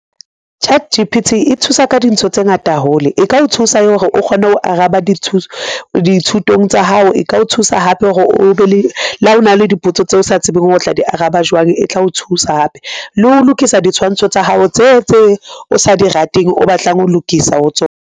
Chat G_P_T e thusa ka dintho tse ngata hole e ka o thusa hore o kgone ho araba dithutong tsa hao, e ka o thusa hape hore o be le, la ho na le dipotso tseo o sa tsebeng hore o tla di araba jwang e tla o thusa hape, le ho lokisa ditshwantsho tsa hao tse o sa di rateng o batlang ho lokisa ho tsona.